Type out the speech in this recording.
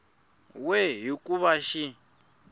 we hi ku va xi